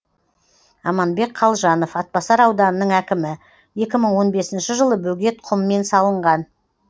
аманбек қалжанов атбасар ауданының әкімі екі мың он бесінші жылы бөгет құммен салынған